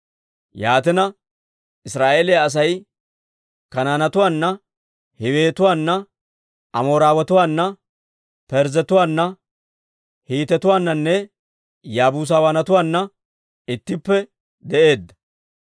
Yaatina, Israa'eeliyaa Asay Kanaanetuwaana, Hiiwetuwaana, Amooretuwaana, Parzzetuwaana, Hiitetuwaananne Yaabuusatuwaanna ittippe de'eedda.